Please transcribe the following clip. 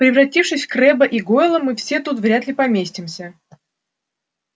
превратившись в крэбба и гойла мы все тут вряд ли поместимся